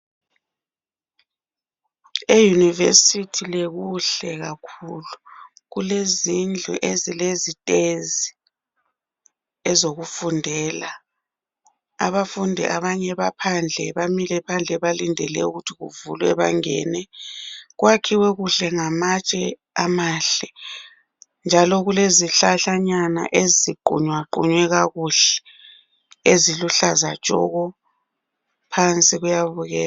E University le kuhle kakhulu. Kulezindlu ezilezitezi ezokufundela. Abafundi abanye baphandle, bamile balindele ukuthi kuvulwe bangene. Kwakhiwe kuhle ngamatshe amahle njalo kulezihlahlanyana eziqunyaqunywe kakuhle, eziluhlaza tshoko. Phansi kuyabukeka.